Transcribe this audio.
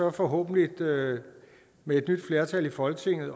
og forhåbentlig med et nyt flertal i folketinget